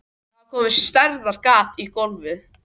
Það var komið stærðar gat í gólfið.